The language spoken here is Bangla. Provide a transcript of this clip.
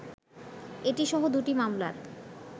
এটি সহ দু’টি মামলার